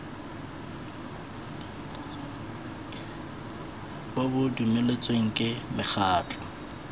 bo bo dumeletsweng ke mekgatlho